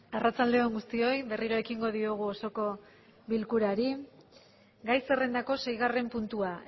arratsalde on guztioi berriro ekingo diogu osoko bilkurari gai zerrendako seigarren puntua